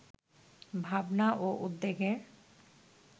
ভাবনা ও উদ্যোগের